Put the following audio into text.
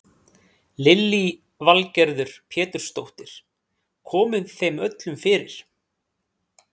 Lillý Valgerður Pétursdóttir: Komið þeim öllum fyrir?